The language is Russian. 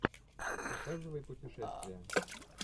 показывай путешествие